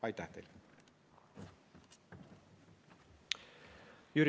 Aitäh teile!